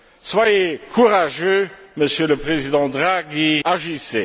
Soyez courageux, Monsieur le Président Draghi, agissez!